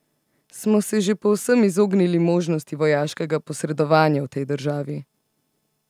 Smo se že povsem izognili možnosti vojaškega posredovanja v tej državi?